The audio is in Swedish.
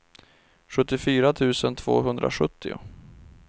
sjuttiofyra tusen tvåhundrasjuttio